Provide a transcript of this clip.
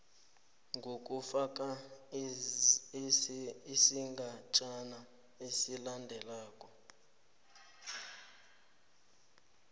nokufaka isigatjana esilandelako